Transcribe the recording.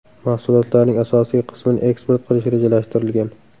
Mahsulotlarning asosiy qismini eksport qilish rejalashtirilgan.